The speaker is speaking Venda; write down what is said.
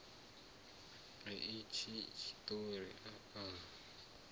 a itshi tshiṱori a a